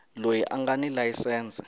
loyi a nga ni layisense